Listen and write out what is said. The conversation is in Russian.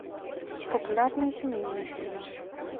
популярные семейные фильмы